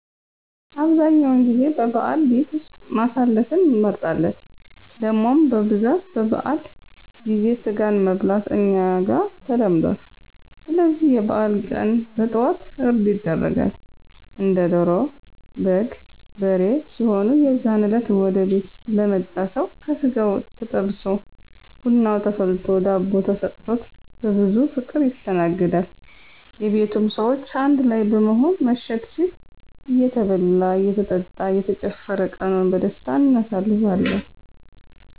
አብዛኛውን ጊዜ በበዓል ቤት ውስጥ ማሳለፍን እንመርጣለን። ደሞም በብዛት በበዓል ጊዜ ስጋን መብላት እኛ ጋር ተለምዱአል ስለዚህ የበዓል ቀን በጠዋት እርድ ይደረጋል። እንደ ዶሮ፣ በግ፣ በሬ ሲሆኑ የዛን እለት ወደ ቤት ለመጣ ሰው ከስጋው ተጠብሶ ብናው ተፈልቶ ዳቦ ተሰጥቾት በብዙ ፍቅር ይስተናገዳል። የቤቱም ሰዎች አንድ ላይ በመሆን መሸት ሲል እየተበላ እየተጠጣ እየተጨፈረ ቀኑን በደስታ አናሳልፋለን።